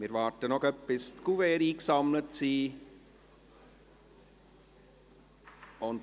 Wir warten noch, bis die Kuverts eingesammelt sind.